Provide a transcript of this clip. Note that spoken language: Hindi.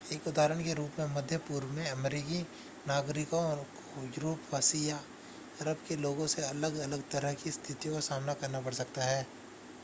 एक उदाहरण के रूप में मध्य पूर्व में अमेरिकी नागरिकों को यूरोपीवासी या अरब के लोगों से अलग-अलग तरह की स्थितियों का सामना करना पड़ सकता है